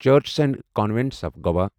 churches and convents of Goa